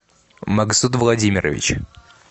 магсуд владимирович